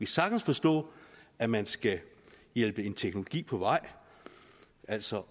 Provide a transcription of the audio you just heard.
sagtens forstå at man skal hjælpe en teknologi på vej altså